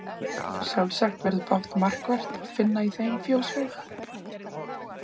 Sjálfsagt verður fátt markvert að finna í þeim fjóshaug.